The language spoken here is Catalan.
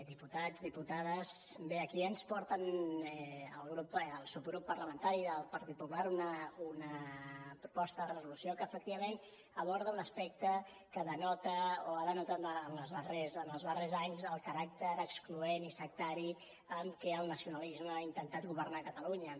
diputats diputades bé aquí ens porten el subgrup parlamentari del partit popular una proposta de resolució que efectivament aborda un aspecte que denota o ha denotat en els darrers anys el caràcter excloent i sectari amb què el nacionalisme ha intentat governar catalunya